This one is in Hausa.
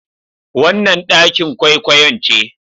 Wannan ɗakin kwaikwayon ce.